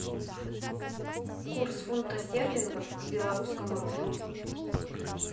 курс фунта стерлингов к белорусскому рублю